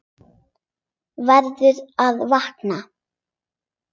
Verður að vakna.